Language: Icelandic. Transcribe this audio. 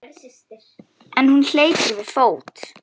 En hún hleypur við fót.